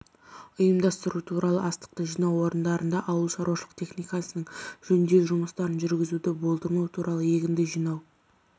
ұйымдастыру туралы астықты жинау орындарында ауыл шаруашылық техникасының жөндеу жұмыстарын жүргізуді болдырмау туралы егінді жинау